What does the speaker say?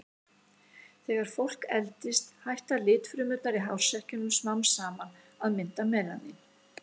Þegar fólk eldist hætta litfrumurnar í hársekkjunum smám saman að mynda melanín.